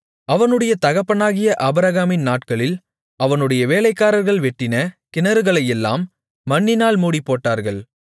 அவனுடைய தகப்பனாகிய ஆபிரகாமின் நாட்களில் அவனுடைய வேலைக்காரர்கள் வெட்டின கிணறுகளையெல்லாம் மண்ணினால் மூடிப்போட்டார்கள்